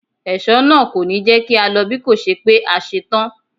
Ẹ̀ṣọ́ náà kò ní jẹ́ kí á lọ bíkòṣe pé a ṣe tán.